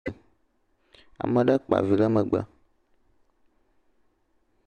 … ame ɖe kpa vi ɖe megbe